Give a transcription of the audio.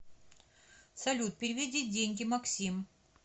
салют переведи деньги максим